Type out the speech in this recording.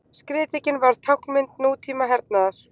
Skriðdrekinn varð táknmynd nútíma hernaðar.